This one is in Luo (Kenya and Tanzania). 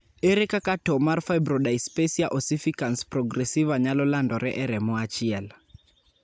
ere kaka to mar firbrodyspasia ossificans progressiva nyalo landore e remo achiel